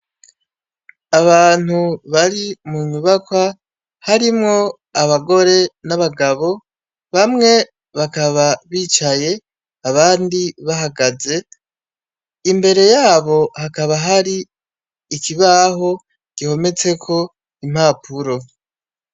Abantu bari munyubakwa, harimwo abagore n'abagabo ,bamwe bakaba bicaye, abandi bahagaze , imbere yabo hakaba hari ikibaho gihometseko impapuro.